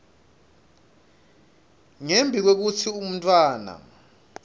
ngembi kwekutsi umntfwana